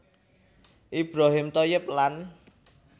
Ibrohim Thoyyib lan